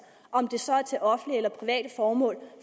om det så er til offentlige eller private formål